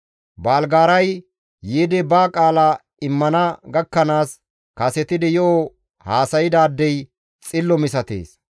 Baalgaaray yiidi ba qaala immana gakkanaas kasetidi yo7o haasaydaadey xillo misatees.